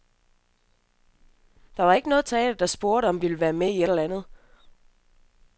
Der var ikke nogle teatre, der spurgte, om vi ville være med i et eller andet.